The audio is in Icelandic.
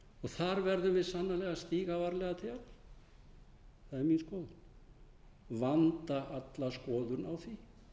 þar verðum við sannarlega að stíga varlega til jarðar það er mín skoðun vanda alla skoðun á því